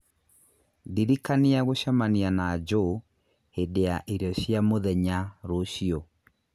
Ndirikania gũcemania na Joe hĩndĩ ya irio cia mũthenya rũciũ